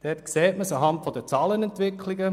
Dort sieht man es anhand der Zahlenentwicklungen.